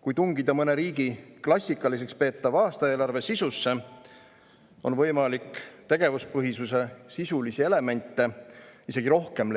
Kui tungida mõne riigi klassikaliseks peetava aastaeelarve sisusse, siis on võimalik tegevuspõhisuse sisulisi elemente leida isegi rohkem,